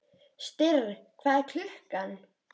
Styrr, hvað er klukkan?